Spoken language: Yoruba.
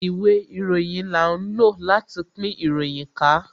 Ìwé ìròyìn là ń lò láti pín ìròyìn ká